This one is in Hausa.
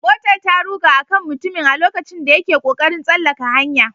Motar ta ruga a kan mutumin a lokacin da yake kokarin tsallaka hanya